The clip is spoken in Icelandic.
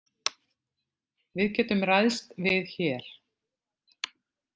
Við getum ræðst við hér.